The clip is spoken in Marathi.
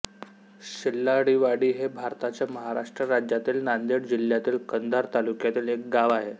शेल्लाळीवाडी हे भारताच्या महाराष्ट्र राज्यातील नांदेड जिल्ह्यातील कंधार तालुक्यातील एक गाव आहे